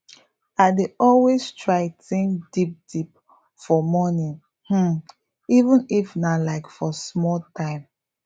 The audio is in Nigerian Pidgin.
i dey always try think deep deep for morning um even if nah like for small time